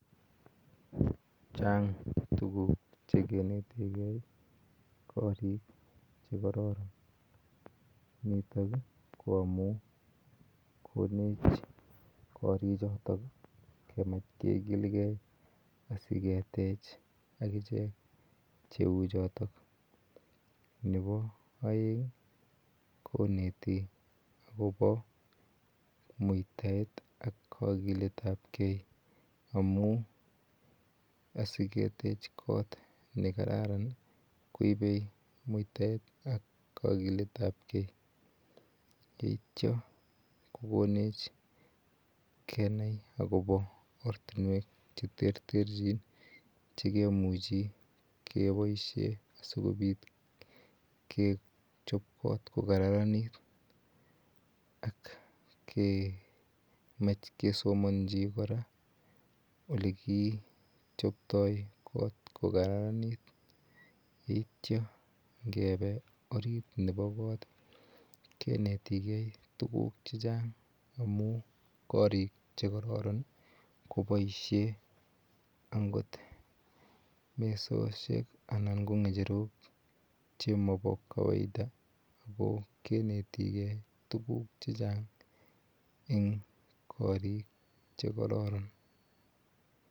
Chang tukuk chekinetikei kori chekororon, nitok ko amun konech korichoton kemach kikilke asiketech akechek cheu choton, nebo oeng koneti akobo muitaet ak kokiletabke amun asiketech koot nekararan koibe muitaet ak kokiletabke yeityo kokonech kenai akobo ortinwek cheterterchin chekemuchi keboishen sikobit kechobot ko kararanit ak kemach kesomonchi kora olekichobto koot kokararanit yeityo ngebe oriit nebo koot kinetikei tukuk chechang amun korik chekororon koboishen angot mesoshek anan ko ngecherok chemobo kawaida ak ko kinetike tukuk chechang en korik chekororon.